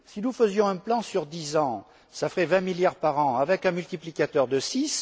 Si nous faisions un plan sur dix ans, cela ferait 20 milliards par an, avec un multiplicateur de six.